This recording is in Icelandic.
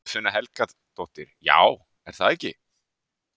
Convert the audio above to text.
Guðfinna Helgadóttir: Já, er það ekki?